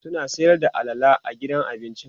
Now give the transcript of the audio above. suna Sayar da alala a gidan abincin?